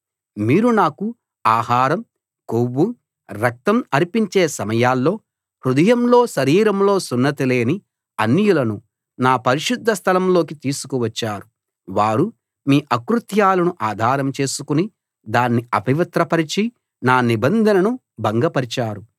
మీరు నాకు ఆహారం కొవ్వు రక్తం అర్పించే సమయాల్లో హృదయంలో శరీరంలో సున్నతి లేని అన్యులను నా పరిశుద్ధ స్థలంలోకి తీసుకువచ్చారు వారు మీ అకృత్యాలను ఆధారం చేసుకుని దాన్ని అపవిత్రపరచి నా నిబంధనను భంగపరిచారు